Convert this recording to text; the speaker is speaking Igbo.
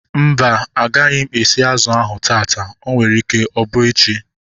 Mba, agaghị m esi azụ ahu taata. O nwere ike ịbụ echi